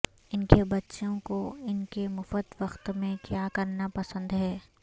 ان کے بچوں کو ان کے مفت وقت میں کیا کرنا پسند ہے